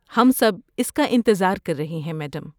ہم سب اس کا انتظار کر رہے ہیں، میڈم۔